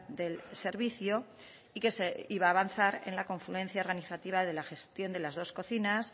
del servicio y que se iba a avanzar en la confluencia organizativa de la gestión de las dos cocinas